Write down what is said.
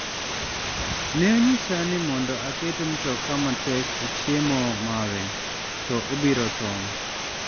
"""Ne onyisa ni mondo aket mtoka matek e chiemo mare, to obiro tho."